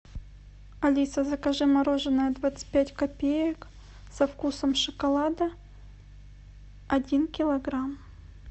алиса закажи мороженое двадцать пять копеек со вкусом шоколада один килограмм